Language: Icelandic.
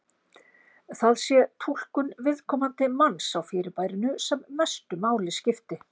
Það sé túlkun viðkomandi manns á fyrirbærinu sem mestu máli skipti.